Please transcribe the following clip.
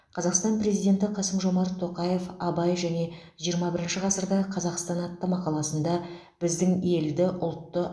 қазақстан презденті қасым жомарт тоқаев абай және жиырма бірінші ғасырдағы қазақстан атты мақаласында біздің елді ұлтты